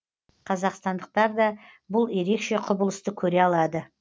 қазақстандықтар да бұл ерекше құбылысты көре алады